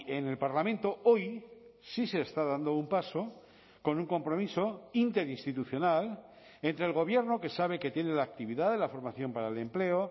en el parlamento hoy sí se está dando un paso con un compromiso interinstitucional entre el gobierno que sabe que tiene la actividad de la formación para el empleo